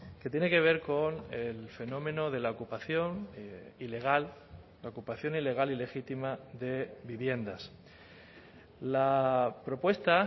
que tiene que ver con el fenómeno de la ocupación ilegal la ocupación ilegal ilegítima de viviendas la propuesta